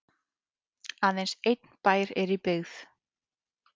aðeins einn bær er í byggð